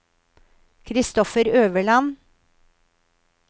Kristoffer Øverland